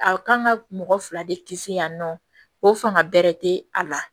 A kan ka mɔgɔ fila de kisi yan nɔ ko fanga bɛrɛ tɛ a la